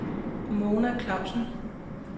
Mona Klausen